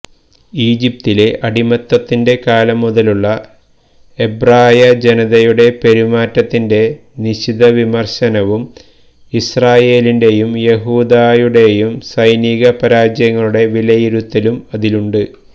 ഈജിപ്തിലെ അടിമത്തത്തിന്റെ കാലം മുതലുള്ള എബ്രായജനതയുടെ പെരുമാറ്റത്തിന്റെ നിശിതവിമർശനവും ഇസ്രായേലിന്റെയും യഹൂദായുടേയും സൈനികപരാജയങ്ങളുടെ വിലയിരുത്തലും അതിലുണ്ട്